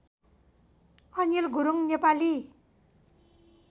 Anil Gurung Nepali